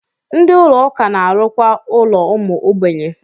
Ndị Ụlọ ụka na-arụkwa ụlọ ụmụ ogbenye.